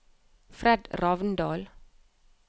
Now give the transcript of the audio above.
Fred Ravndal